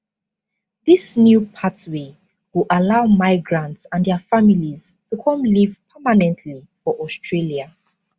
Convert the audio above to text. dis new pathway go allow migrants and dia families to come live permanently for australia